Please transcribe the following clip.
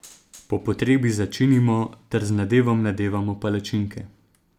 Po potrebi začinimo ter z nadevom nadevamo palačinke.